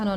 Ano.